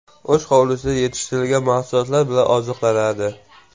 O‘z hovlisida yetishtirilgan mahsulotlar bilan oziqlanadi.